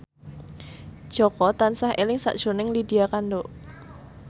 Jaka tansah eling sakjroning Lydia Kandou